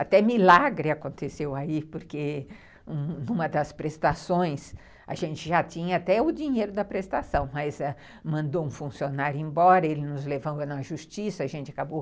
Até milagre aconteceu aí, porque numa das prestações, a gente já tinha até o dinheiro da prestação, mas ãh mandou um funcionário embora, ele nos levou na justiça, a gente acabou...